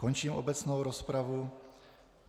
Končím obecnou rozpravu.